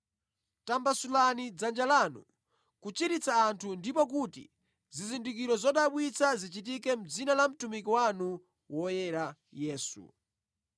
Tambasulani dzanja lanu kuchiritsa anthu ndipo kuti, zizindikiro zodabwitsa zichitike mʼdzina la mtumiki wanu woyera Yesu.”